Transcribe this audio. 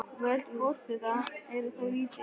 Völd forseta eru þó lítil.